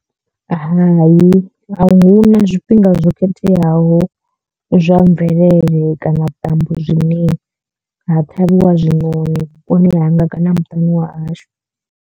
Hai a hu na zwifhinga zwo khetheaho zwa mvelele kana vhuṱambo zwine ha ṱhavhiwa zwiṋoni vhuponi hanga kana muṱani wa hashu.